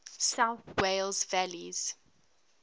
south wales valleys